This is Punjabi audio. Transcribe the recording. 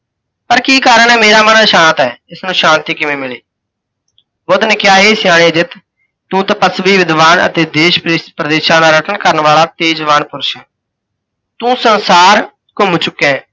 ਪਰ ਕੀ ਕਾਰਨ ਹੈ ਮੇਰਾ ਮਨ ਅਸ਼ਾਂਤ ਹੈ, ਇਸ ਨੂੰ ਸ਼ਾਂਤੀ ਕਿਵੇਂ ਮਿਲੇ? ਬੁੱਧ ਨੇ ਕਿਹਾ, ਹੇ ਸਿਆਣੇ ਅਜਿੱਤ! ਤੂੰ ਤਪੱਸਵੀ ਵਿਧਵਾਨ ਅਤੇ ਦੇਸ਼ ਪ੍ਰਦੇਸਾਂ ਦਾ ਪਰਯਤਣ ਕਰਣ ਵਾਲਾ ਤੇਜ਼ਵਾਨ ਪੁਰਸ਼ ਹੈਂ, ਤੂੰ ਸੰਸਾਰ ਘੁੰਮ ਚੁੱਕਿਆ ਹੈ।